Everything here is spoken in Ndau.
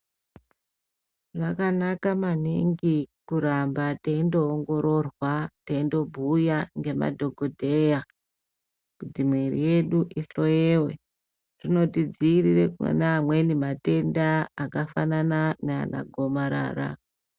Zvakanaka maningi kuramba teindoongororwa, teindobhuya ngemadhokodheyaa kuti muviri yedu ishwoyewe. Zvinotidziirire kune amweni matenda akafanana naana gomarara.